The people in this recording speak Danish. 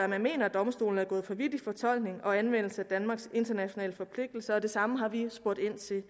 man mener domstolen er gået for vidt i fortolkningen og anvendelsen af danmarks internationale forpligtelser og det samme har vi spurgt